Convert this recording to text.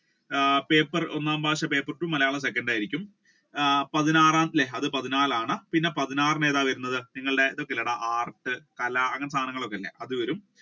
ആഹ് paper ഒന്നാമത്തെ മലയാളം second ആയിരിക്കും പതിനാറ് അല്ലെ അത് പതിനാലാണ് പിന്നെ പതിനാറിന് ഏതാണ് വരുന്നത് നിങ്ങളുടെ art കല അങ്ങനത്തെ സാധനങ്ങൾ ഒക്കെ ഇല്ലേ അത് വരും